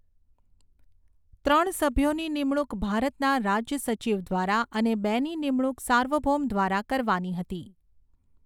ત્રણ સભ્યોની નિમણૂક ભારતના રાજ્ય સચિવ દ્વારા અને બેની નિમણૂક સાર્વભૌમ દ્વારા કરવાની હતી.